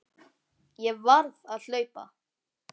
Ég varð að hlaupa.